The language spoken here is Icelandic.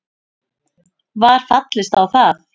Var fallist á það